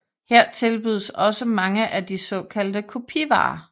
Her tilbydes også mange af de såkaldte kopivarer